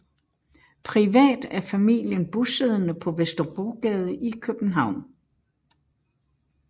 Privat er familien bosiddende på Vesterbrogade i København